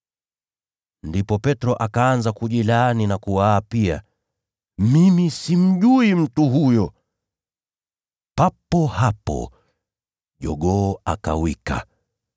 Ndipo Petro akaanza kujilaani na kuwaapia, “Mimi simjui mtu huyo!” Papo hapo jogoo akawika.